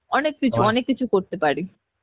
অনেক কিছু অনেক কিছু করতে পারি